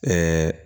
Ɛɛ